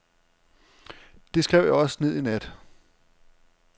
Det skrev jeg også ned i nat.